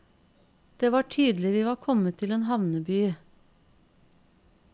Det var tydelig vi var kommet til en havneby.